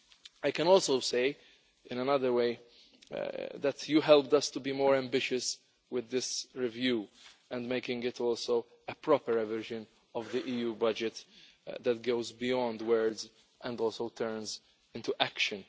I can also say, in another way, that you helped us to be more ambitious with this review and making it also a proper revision of the EU budget that goes beyond words and also turns into action.